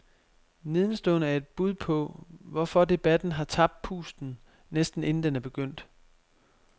Nedenstående er et bud på, hvorfor debatten har tabt pusten, næsten inden den er begyndt.